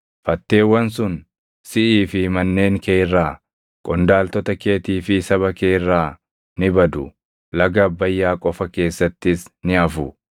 Fatteewwan sun siʼii fi manneen kee irraa, qondaaltota keetii fi saba kee irraa ni badu; laga Abbayyaa qofa keessattis ni hafu.”